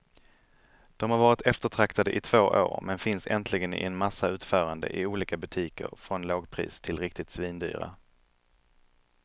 De har varit eftertraktade i två år, men finns äntligen i en massa utföranden i olika butiker från lågpris till riktigt svindyra.